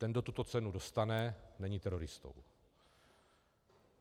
Ten, kdo tuto cenu dostane, není teroristou.